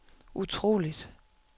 utroligt